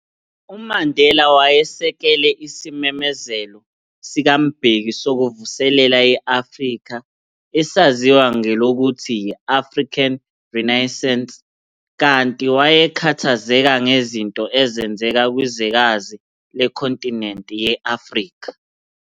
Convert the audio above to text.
UMandela wasekela isimemezelo sikaMbeki sokuvuselela i-Afrika ezaziwa ngelokuthi yi-"African Renaissance", kanti wayekhathazeka ngezinto ezenzeka kwizwekazi lekhontinente ye-Afrika.